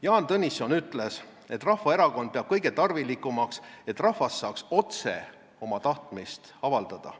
Jaan Tõnisson ütles, et Rahvaerakond peab kõige tarvilikumaks, et rahvas saaks otse oma tahtmist avaldada.